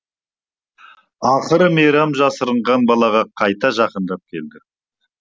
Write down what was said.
ақыры мейрам жасырынған балаға қайта жақындап келді